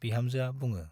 बिहामजोआ बुङो।